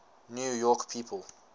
new york people